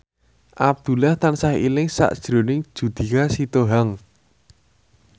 Abdullah tansah eling sakjroning Judika Sitohang